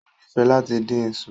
O nifẹ lati din iṣu